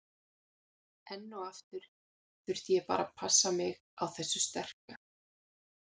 Enn og aftur þurfti ég bara að passa mig á þessu sterka.